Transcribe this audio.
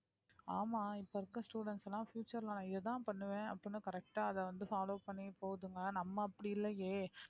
ஆமா இப்ப இருக்க students எல்லாம் future ல நான் இதைத்தான் பண்ணுவேன் அப்படின்னு correct ஆ அதை வந்து follow பண்ணி போதுங்க நம்ம அப்படி இல்லையே